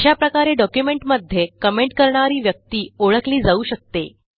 अशा प्रकारे डॉक्युमेंटमध्ये कमेंट करणारी व्यक्ती ओळखली जाऊ शकते